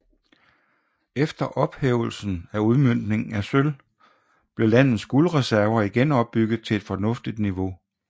Efter ophævelsen af udmøntningen af sølv blev landets guldreserver igen opbygget til et fornuftigt niveau